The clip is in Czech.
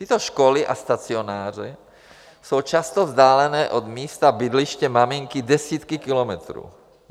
Tyto školy a stacionáře jsou často vzdálené od místa bydliště maminky desítky kilometrů.